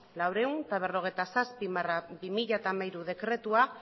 laurehun eta berrogeita zazpi barra bi mila hamairu dekretua